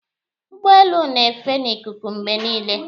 Ụgbọelu na-efe n'ikuku mgbe niile.